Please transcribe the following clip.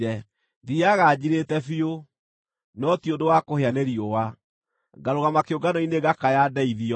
Thiiaga njirĩte biũ, no ti ũndũ wa kũhĩa nĩ riũa; ngarũgama kĩũngano-inĩ ngakaya ndeithio.